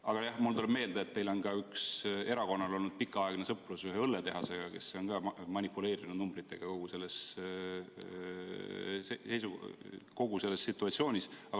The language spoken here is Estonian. Aga jah, mulle tuleb meelde, et teie erakonnal on olnud pikaaegne sõprus ühe õlletehasega, kes on ka manipuleerinud numbritega selles situatsioonis.